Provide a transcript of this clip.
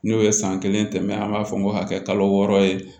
N'o ye san kelen tɛmɛ an b'a fɔ ko ka kɛ kalo wɔɔrɔ ye